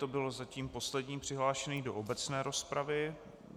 To byl zatím poslední přihlášený do obecné rozpravy.